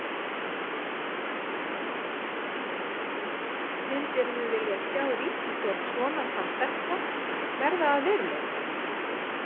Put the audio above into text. Jóhann: Myndirðu vilja sjá ríkisstjórn svona samsetta verða að veruleika?